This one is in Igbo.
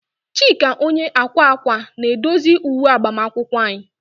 Chika onye akwa akwa na-edozi uwe agbamakwụkwọ anyị.